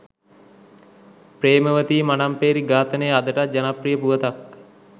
ප්‍රේමවතී මනම්පේරි ඝාතනය අදටත් ජනප්‍රිය පුවතක්